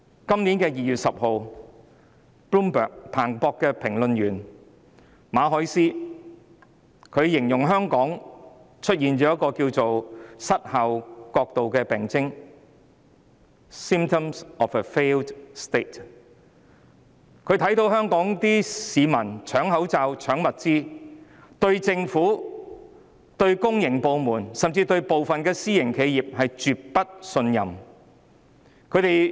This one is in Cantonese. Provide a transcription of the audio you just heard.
今年2月10日 ，Bloomberg 的評論員馬凱斯形容香港出現了名為失效國度的病徵，她看到香港市民搶口罩、搶物資，對政府、對公營部門，甚至對部分私營企業也絕不信任。